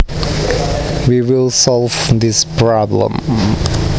We will solve this problem